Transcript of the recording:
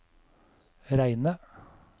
Reine